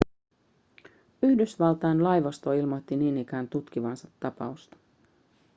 yhdysvaltain laivasto ilmoitti niin ikään tutkivansa tapausta